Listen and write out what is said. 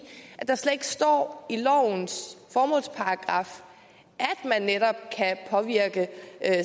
at der slet ikke står i lovens formålsparagraf at man netop kan påvirke